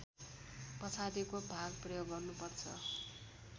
पछाडिको भाग प्रयोग गर्नुपर्छ